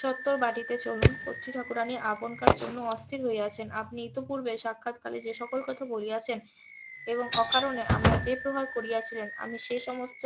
সত্তর বাটিতে চলুন কতৃ ঠাকুরানী আপনকার জন্য অস্থির হইয়া আছেন আপনি ইতোপূর্বে সাক্ষাৎকারে যে সকল কথা বলিয়াছেন এবং অকারণে আমায় যে প্রহার করিয়াছিলেন আমি সে সমস্ত